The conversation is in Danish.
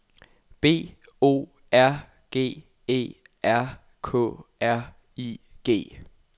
B O R G E R K R I G